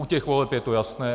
U těch voleb je to jasné.